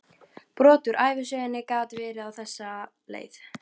Brot úr ævisögunni gat verið á þessa leið